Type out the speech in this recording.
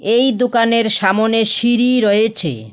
এই দোকানের সামনে সিঁড়ি রয়েছে।